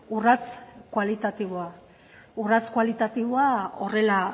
urrats kualitatiboa horrela